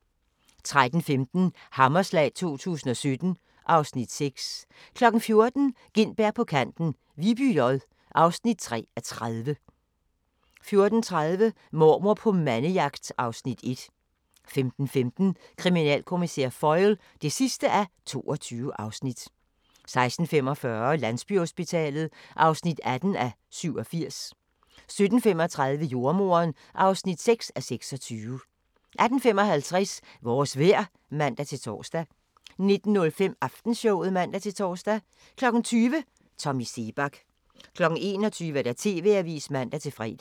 13:15: Hammerslag 2017 (Afs. 6) 14:00: Gintberg på kanten – Viby J (3:30) 14:30: Mormor på mandejagt (Afs. 1) 15:15: Kriminalkommissær Foyle (22:22) 16:45: Landsbyhospitalet (18:87) 17:35: Jordemoderen (6:26) 18:55: Vores vejr (man-tor) 19:05: Aftenshowet (man-tor) 20:00: Tommy Seebach 21:00: TV-avisen (man-fre)